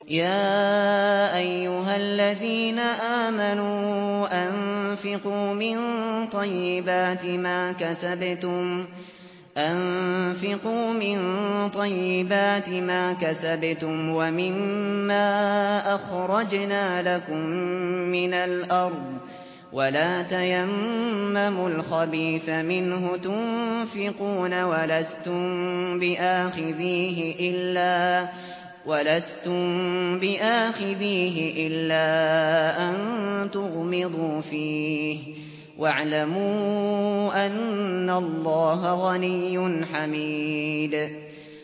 يَا أَيُّهَا الَّذِينَ آمَنُوا أَنفِقُوا مِن طَيِّبَاتِ مَا كَسَبْتُمْ وَمِمَّا أَخْرَجْنَا لَكُم مِّنَ الْأَرْضِ ۖ وَلَا تَيَمَّمُوا الْخَبِيثَ مِنْهُ تُنفِقُونَ وَلَسْتُم بِآخِذِيهِ إِلَّا أَن تُغْمِضُوا فِيهِ ۚ وَاعْلَمُوا أَنَّ اللَّهَ غَنِيٌّ حَمِيدٌ